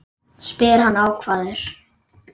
spyr hann ákafur.